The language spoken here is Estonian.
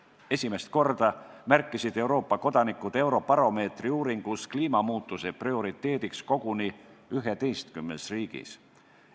Esimest korda märkisid Euroopa kodanikud Eurobaromeetri uuringus kliimamuutuse prioriteediks koguni 11 riigis.